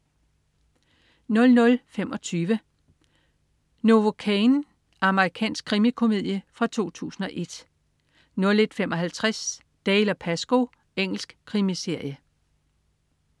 00.25 Novocaine. Amerikansk krimikomedie fra 2001 01.55 Dalziel & Pascoe. Engelsk krimiserie